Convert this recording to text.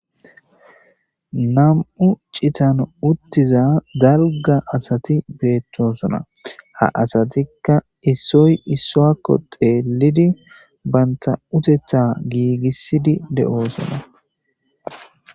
nam'u cittan uttiza dalgga asati bettosona ha asatikka issoy issuwakko xeellidi banta uteththa giigissidi de'oosona